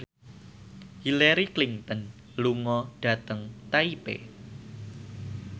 Hillary Clinton lunga dhateng Taipei